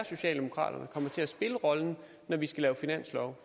socialdemokraterne kommer til at spille rollen når vi skal lave finanslov